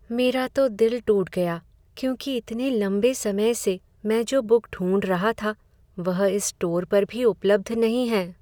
मेरा तो दिल टूट गया क्योंकि इतने लंबे समय से मैं जो बुक ढूंढ रहा था वह इस स्टोर पर भी उपलब्ध नहीं है।